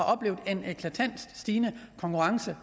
oplevet en eklatant stigende konkurrence